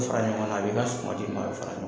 O fɔra ɲɔgɔn kan a b'i ka suma fara